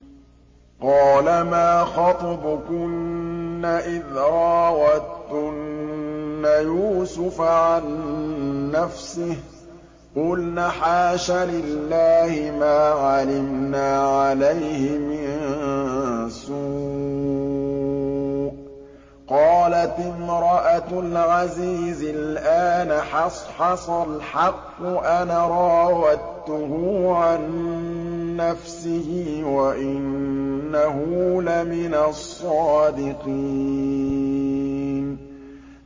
قَالَ مَا خَطْبُكُنَّ إِذْ رَاوَدتُّنَّ يُوسُفَ عَن نَّفْسِهِ ۚ قُلْنَ حَاشَ لِلَّهِ مَا عَلِمْنَا عَلَيْهِ مِن سُوءٍ ۚ قَالَتِ امْرَأَتُ الْعَزِيزِ الْآنَ حَصْحَصَ الْحَقُّ أَنَا رَاوَدتُّهُ عَن نَّفْسِهِ وَإِنَّهُ لَمِنَ الصَّادِقِينَ